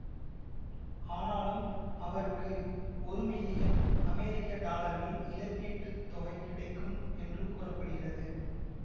ஆனாலும் அவருக்கு ஒரு மில்லியன் அமெரிக்க டாலர்கள் இழப்பீட்டு தொகை கிடைக்கும் என்று கூற படுகிறது